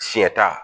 Sɛ ta